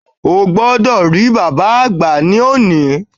O gbodò rí bàbáa àgbà ní òní